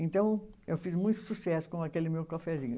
Então, eu fiz muito sucesso com aquele meu cafezinho.